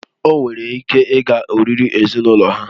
O nwere ike ịga oriri ezinụlọ ha